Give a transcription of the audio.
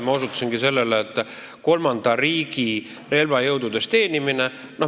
Ma osutasin kolmanda riigi relvajõududes teenimisele.